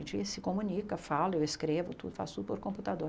A gente se comunica, fala, eu escrevo, tu faço tudo pelo computador.